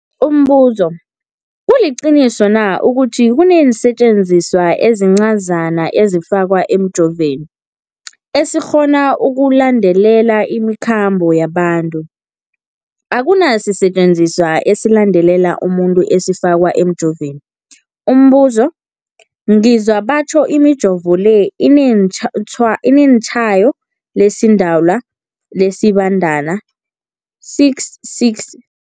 Umbuzo, kuliqiniso na ukuthi kunesisetjenziswa esincazana esifakwa emijovweni, esikghona ukulandelela imikhambo yabantu? Akuna sisetjenziswa esilandelela umuntu esifakwe emijoveni. Umbuzo, ngizwa batjho imijovo le inetshayo lesiDalwa, lesiBandana 66